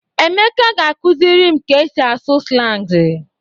Emeka ga-akụziri m ka e si asụ slangị.